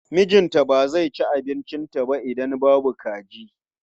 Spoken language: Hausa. Mijinta ba zai ci abincinta ba idan babu kaji.